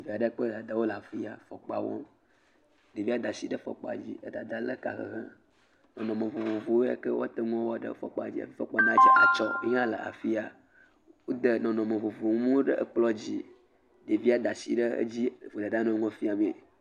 Eɖe kple dada wole afi ya. Ɖevia da asi ɖe fɔkpa dzi. Dada le eka hehem. Emɔ vovovowo le ke woate ŋu woaɖe fɔkpa dzi. Fɔkpa nate ŋu adze atsɔ yi hã le afi ya. Wode nɔnɔnme vovovowo nuwo ɖe ekplɔ dzi. devia de asi le dzi gblo da nu fiam e.